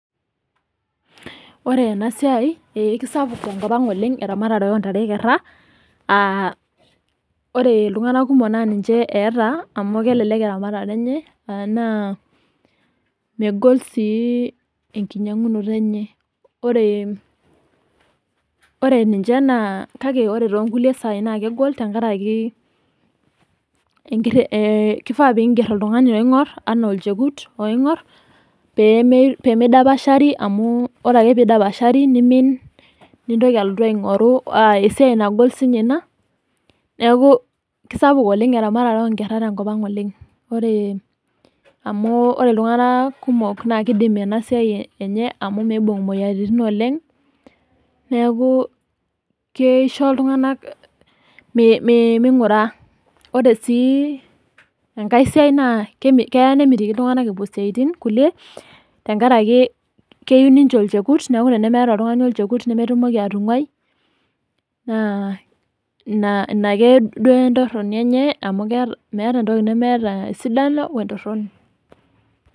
Ore ena siai ee kiaspuk tenkop ang oleng eramatare ontare ekerra uh ore iltung'anak kumok naa ninche eeta amu kelelek eramatata enye naa megol sii enkinyiang'unoto enye ore, ore ninche naa kae ore tonkulie sai naa kegol tenkaraki enkirre kifaa pingerr oltung'ani oing'orr enaa olchekut pemei pemeidapasha pii amu ore ake pidapashari nimin nintoki alotu aing'oru aa esiai nagol siinye ina neku kisapuk oleng eramatare onkerra tenkop ang oleng ore amu ore iltung'anak kumok naa kidim ena siai enye amu miibung imoyiaritin oleng neeku keisho iltung'anak mee meing'ura ore sii enkae siai naa keme keya nemitiki iltung'anak epuo isiaitin kulie tenkaraki keyieu ninche olchekut neku tenemeeta oltung'ani olchekut nemetumoki atung'uai naa ina ina ake duo entorroni enye amu keeta meeta entoki nemeeta esidano wentorroni.